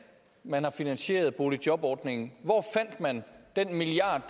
man har finansieret boligjobordningen hvor fandt man den milliard